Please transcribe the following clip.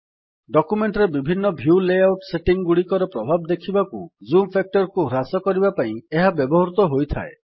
document ରେ ବିଭିନ୍ନ view layout setting ଗୁଡିକର ପ୍ରଭାବ ଦେଖିବାକୁ ଜୁମ୍ ଫ୍ୟାକ୍ଟର୍ କୁ ହ୍ରାସ କରିବା ପାଇଁ ଏହା ବ୍ୟବହୃତ ହୋଇଥାଏ